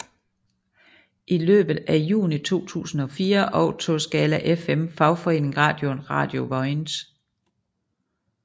I løbet af juni 2004 overtog Skala FM fagforeningeradioen Radio Vojens